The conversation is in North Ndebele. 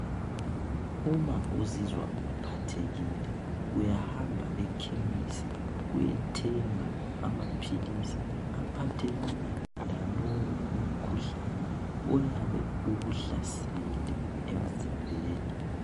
Uma uzizwa uphathekile uyahamba ekhemisi uyethenga amaphilisi aphathelana lalowo umkhuhlane oyabe ukuhlasele emzimbeni.